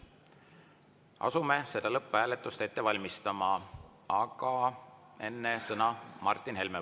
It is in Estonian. Asume lõpphääletust ette valmistama, aga enne sõna Martin Helmele.